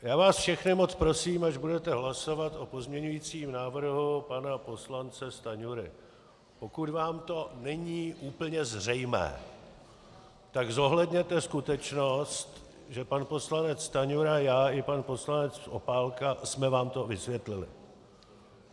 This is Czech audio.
Já vás všechny moc prosím, až budete hlasovat o pozměňujícím návrhu pana poslance Stanjury, pokud vám to není úplně zřejmé, tak zohledněte skutečnost, že pan poslanec Stanjura, já i pan poslanec Opálka jsme vám to vysvětlili.